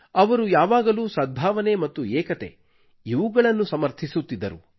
ಅವರು ಯಾವಾಗಲೂ ಸದ್ಭಾವನೆ ಮತ್ತು ಏಕತೆ ಇವುಗಳನ್ನು ಸಮರ್ಥಿಸುತ್ತಿದ್ದರು